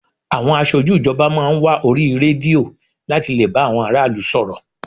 Àwọn aṣojú ìjọba máa ń wá orí rédíò láti lè bá àwọn ará ìlú sọ̀rọ̀